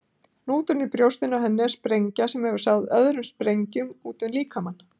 Hnúturinn í brjóstinu á henni er sprengja sem hefur sáð öðrum sprengjum útum líkamann.